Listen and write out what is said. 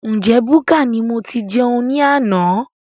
Njẹ búkà ní mo tí jẹun ni àna?